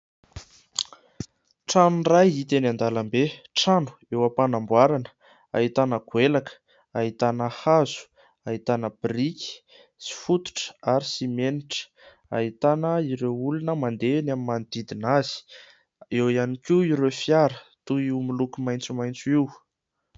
Trano iray hita teny an-dalambe. Trano eo ampanamboarana ahitana goelaka, ahitana hazo, ahitana briky sy fototra ary simenitra. Ahitana ireo olona mandeha ny amin'ny manodidina azy. Eo ihany koa ireo fiara toy io miloko maitsomaitso io.